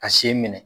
Ka sen minɛ